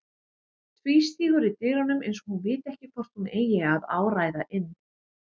Tvístígur í dyrunum eins og hún viti ekki hvort hún eigi að áræða inn.